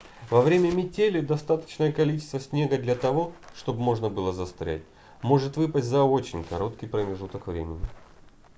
во время метели достаточное количество снега для того чтобы можно было застрять может выпасть за очень короткий промежуток времени